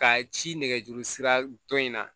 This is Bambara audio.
Ka ci nɛgɛjuru sira dɔ in na